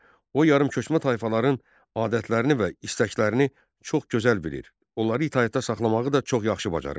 O yarımköçmə tayfaların adətlərini və istəklərini çox gözəl bilir, onları itaətdə saxlamağı da çox yaxşı bacarırdı.